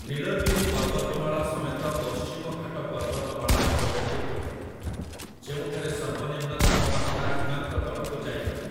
ନୀଳଗିରି ପର୍ବତମାଳା ସମେତ ପଶ୍ଚିମଘାଟ ପର୍ବତମାଳା ଏକ ବ୍ୟତିକ୍ରମ, ଯେଉଁଠାରେ ସର୍ବନିମ୍ନ ତାପମାତ୍ରା ହିମାଙ୍କ ତଳକୁ ଯାଇପାରେ ।